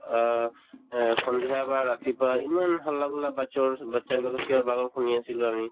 অ, এহ্ সন্ধিয়া বা ৰাতিপুৱা ইমান হাল্লা batches ৰ batches বিলাকৰ চিঞৰ-বাখৰ শুনি আছিলো আমি